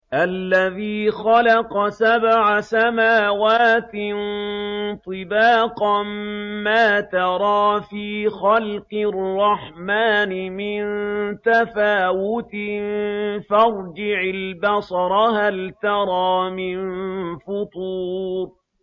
الَّذِي خَلَقَ سَبْعَ سَمَاوَاتٍ طِبَاقًا ۖ مَّا تَرَىٰ فِي خَلْقِ الرَّحْمَٰنِ مِن تَفَاوُتٍ ۖ فَارْجِعِ الْبَصَرَ هَلْ تَرَىٰ مِن فُطُورٍ